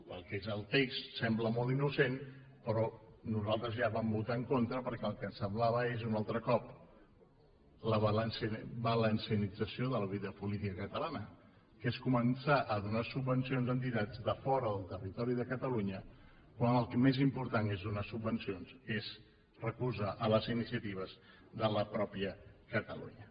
el que és el text sembla molt innocent però nosaltres ja hi vam votar en contra perquè el que ens semblava és un altre cop la valencianització de la vida política catalana que és començar a donar subvencions a entitats de fora del territori de catalunya quan el més important és donar subvencions és recolzar les iniciatives de la mateixa catalunya